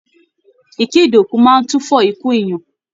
Ìkéde òkú máa n tufọ ikú èèyàn.